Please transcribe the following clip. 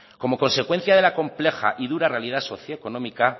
como consecuencia de la compleja y dura realidad socioeconómica